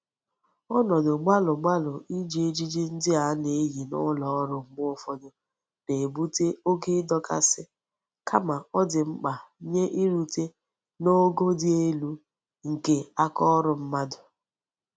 Onodu gbalu gbalu Iji ejiji ndi a na-eyi n'uloru mgbe ufodu na-ebute oke ndokasi kama o di mkpa nye irute n'go di elu nke aka órú mmadu.